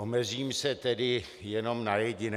Omezím se tedy jenom na jediné.